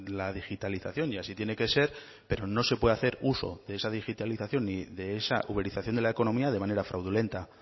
la digitalización y así tiene que ser pero no se puede hacer uso de esa digitalización ni de esa uberización de la economía de manera fraudulenta